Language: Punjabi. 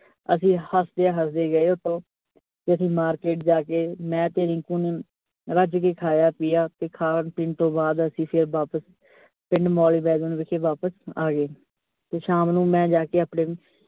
ਅਸੀਂ ਹੱਸਦੇ-ਹੱਸਦੇ ਗਏ ਓਥੋਂ, ਤੇ ਅਸੀਂ market ਜਾਕੇ, ਮੈਂ ਤੇ ਰਿੰਕੂ ਨੇ ਰੱਜ ਕੇ ਖਾਇਆ ਪਿਆ, ਤੇ ਖਾਣ ਪੀਣ ਤੋਂ ਬਾਅਦ ਅਸੀਂ ਫਿਰ ਵਾਪਸ ਵਿੱਚ ਵਾਪਸ ਆਗੇ ਤੇ ਸ਼ਾਮ ਨੂੰ ਮੈਂ ਜਾਕੇ ਆਪਣੇ।